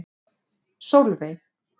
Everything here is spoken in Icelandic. Sólveig